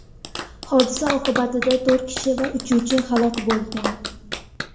Hodisa oqibatida to‘rt kishi va uchuvchi halok bo‘lgan.